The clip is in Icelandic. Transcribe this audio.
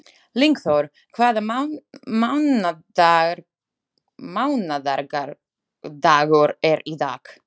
Lyngþór, hvaða mánaðardagur er í dag?